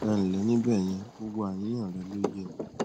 ẹ ǹlẹ ní bẹyẹn gbogbo àníyàn rẹ ló yé mi